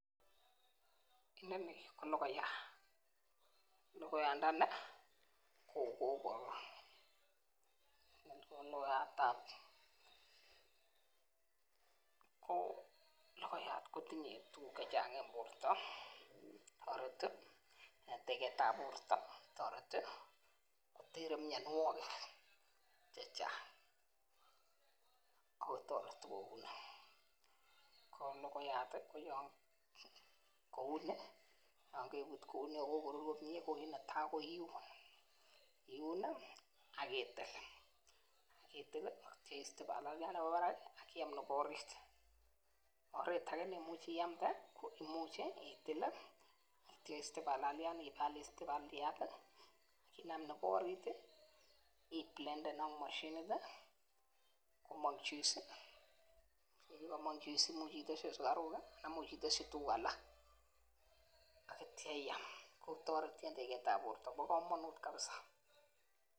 Inoni ko logoiyat, logoiyandani kogagorur kotinye tuguk chechang eng borto tareti gotere mianwogik chechang. logoyat kouni ngibut kouni ak kagorur ko git netai iun, iun agitil ingitil icheru bararit nebo barak agiam nebo orit tos icheru bararit nebo barak agiblenden ingiblenden kocher juice ngomong juice ko tos iteschi sugaruk anan iteschi tugun alak akitia iam bo komonut kabsa